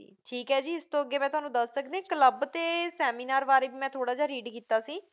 ਠੀਕ ਹੈ ਜੀ, ਇਸ ਤੋਂ ਅੱਗੇ ਮੈਂ ਤੁਹਾਨੂੰ ਦੱਸ ਸਕਦੀ ਹਾਂ, club ਅਤੇ seminar ਬਾਰੇ ਵੀ ਮੈਂ ਥੋੜ੍ਹਾ ਜਿਹਾ read ਕੀਤਾ ਸੀ।